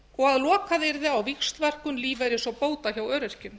og að lokað yrði á víxlverkun lífeyris og bóta hjá öryrkjum